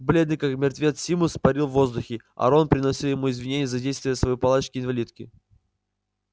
бледный как мертвец симус парил в воздухе а рон приносил ему извинения за действия своей палочки-инвалидки